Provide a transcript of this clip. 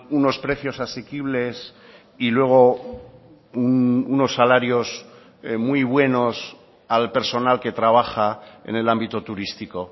unos precios asequibles y luego unos salarios muy buenos al personal que trabaja en el ámbito turístico